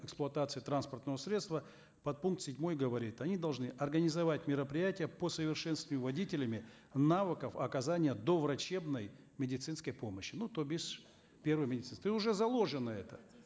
эксплуатацией транспортного средства подпункт седьмой говорит они должны организовать мероприятия по совершенствованию водителями навыков оказания доврачебной медицинской помощи ну то бишь первой медицинской и уже заложено это